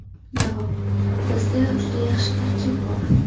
Javob: Bizda juda yaxshi tarkib bor.